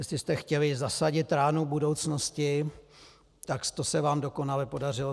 Jestli jste chtěli zasadit ránu budoucnosti, tak to se vám dokonale podařilo.